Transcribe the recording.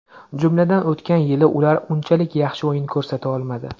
Jumladan, o‘tgan yili ular unchalik yaxshi o‘yin ko‘rsata olmadi.